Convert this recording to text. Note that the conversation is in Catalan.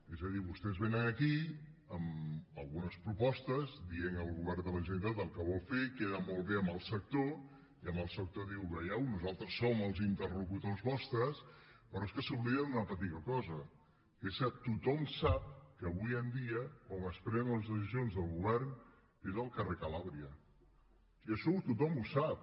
és a dir vostès vénen aquí amb algunes propostes dient al govern de la generalitat el que vol fer queda molt bé amb el sector i al sector li d iuen veieu nosaltres som els interlocutors vostres però és que s’oblida d’una petita cosa que és que tothom sap que avui en dia on es prenen les decisions del govern és al carrer calàbria i això tothom ho sap